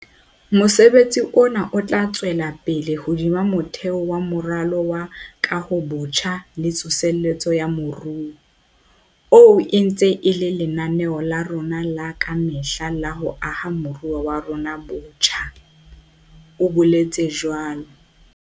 Mosebetsi ona o tla tswela pele hodima motheo wa Moralo wa Kahobotjha le Tsosoloso ya Moruo, oo e ntseng e le lenaneo la rona la ka mehla la ho aha moruo wa rona botjha, o boletse jwalo.